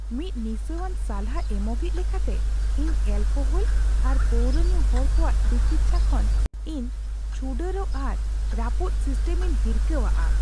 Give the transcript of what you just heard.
ᱢᱤᱫ ᱱᱤᱥᱟᱹᱣᱟᱱ ᱥᱟᱞᱦᱟ ᱮᱢᱚᱜᱤᱡ ᱞᱮᱠᱟᱛᱮ, ᱤᱧ ᱮᱹᱞᱠᱳᱦᱚᱞ ᱟᱨ ᱯᱟᱹᱣᱨᱟᱹ ᱧᱩ ᱦᱚᱲ ᱠᱚᱣᱟᱜ ᱛᱤᱠᱤᱪᱪᱷᱟ ᱠᱷᱚᱱ ᱤᱧ ᱪᱷᱩᱰᱟᱹᱨᱚᱜ ᱟᱨ ᱨᱟᱹᱯᱩᱫ ᱥᱤᱥᱴᱮᱢ ᱤᱧ ᱦᱤᱨᱠᱷᱟᱹᱣᱟᱜᱼᱟ ᱾